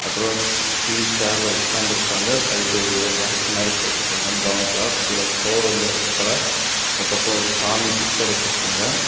அப்புறம் ச் ஸ்டீல் சேர்ல உட்காந்து இருக்காங்க சைடு ஒரு ராக் மாரி போட்ருக்காங்க பிரவுன் கலர் கீழ ப்ளோர் வந்து ரெட்கலர் இந்த பக்கம் சாமி பிச்சர் வச்சிருக்காங்க.